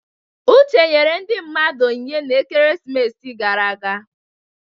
Uche nyere ndị mmadụ onyinye n'ekeresimesi gara aga.